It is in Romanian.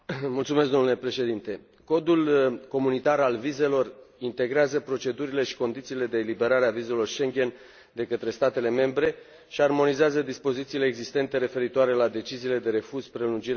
Codul comunitar al vizelor integrează procedurile și condițiile de eliberare a vizelor Schengen de către statele membre și armonizează dispozițiile existente referitoare la deciziile de refuz, prelungire sau anulare a acestor vize.